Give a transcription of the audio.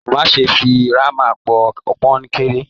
Má ṣe fí hámà pò kọnkéré!